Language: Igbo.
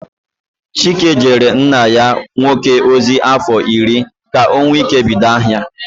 Chike jeere nna ya nwoke ozi afọ irị ka o nwee ike ibido ahia.